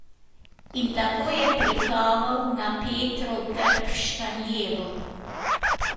In tako je pritaval na Petrov trg v Štanjelu.